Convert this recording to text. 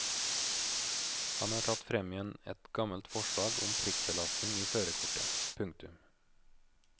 Han har tatt frem igjen et gammelt forslag om prikkbelastning i førerkortet. punktum